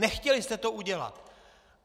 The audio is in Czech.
Nechtěli jste to udělat!